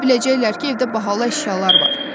Elə biləcəklər ki, evdə bahalı əşyalar var.